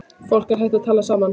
Fólk er hætt að tala saman.